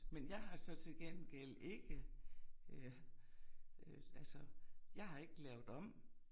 Men jeg har så til gengæld ikke øh øh altså jeg har ikke lavet om